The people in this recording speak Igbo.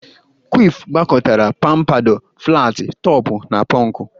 Kwif gwakọtara pampadọ, flatị tọpụ na pọnkụ.